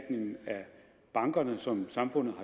af bankerne som samfundet